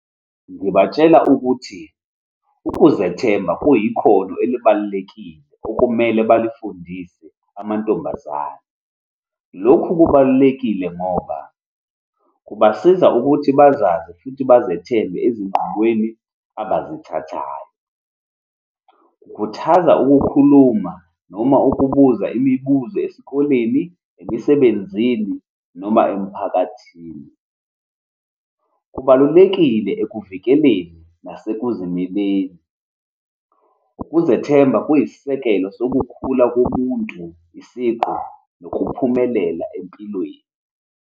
Ngibatshela ukuthi ukuzethemba kuyikhono elibalulekile okumele balifundise amantombazane. Lokhu kubalulekile ngoba kubasiza ukuthi bazazi futhi bazethembe ezinqumweni abayithathayo. Ngikhuthaza ukukhuluma noma ukubuza imibuzo esikoleni, emisebenzini, noma emphakathini. Kubalulekile ekuvikeleni nasekuzimeleni. Ukuzethemba kuyisisekelo sokukhula kobuntu, isiqu, nokuphumelela empilweni.